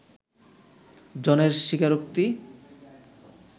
জনের স্বীকারোক্তি